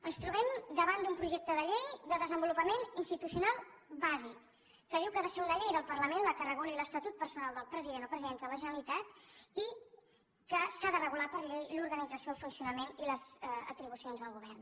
ens trobem davant d’un projecte de llei de desenvolupament institucional bàsic que diu que ha de ser una llei del parlament la que reguli l’estatut personal del president o presidenta de la generalitat i que s’ha de regular per llei l’organització el funcionament i les atribucions del govern